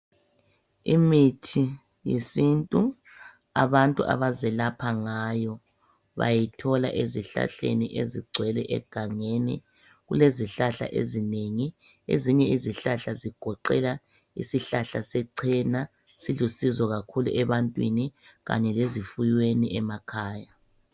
Imithi yesintu abantu abazelapha ngayo bayithola ezihlahleni ezigcwele egangeni .Kulezihlahla ezinengi .Ezinye izihlahla zigoqela isihlahla sechena silusizo kakhulu ebantwini kanye lezifuyweni emakhaya .